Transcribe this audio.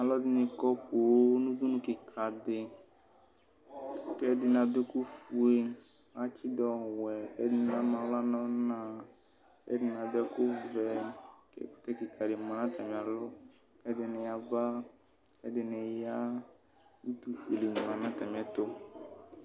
Alʋ ɛdini kɔ poo nʋ ʋdʋnʋ kika di kʋ ɛdini adʋ ɛkʋfue atsidʋ ɔwɛ kʋ ɛdini ama aɣla nʋ ɔna kʋ ɛdini adʋ ɛkʋvɛ kʋ ɛkʋtɛ kika di manʋ atami alɔ kʋ ɛdini yaba kʋ ɛdini ya utufuele manʋ atami ɛtʋ